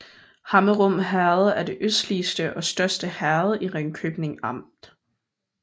Hammerum Herred er det østligste og største herred i Ringkøbing Amt